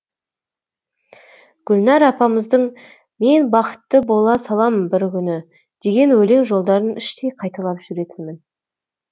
гүлнәр апамыздың мен бақытты бола салам бір күні деген өлең жолдарын іштей қайталап жүретінмін